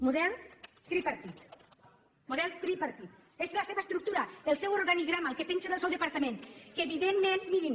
model tripartit model tripartit és la seva estructura el seu organigrama el que penja del seu departament que evidentment mirin